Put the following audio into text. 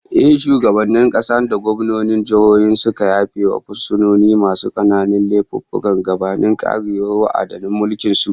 Ehh, shugabannin kasa da gwamnonin jihohi sukan yafe wa fursunoni masu kananan laifuffuka gabanin karewar wa'adin mulkin su